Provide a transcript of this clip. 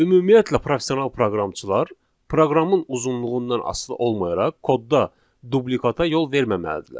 Ümumiyyətlə, professional proqramçılar proqramın uzunluğundan asılı olmayaraq kodda dublikata yol verməməlidirlər.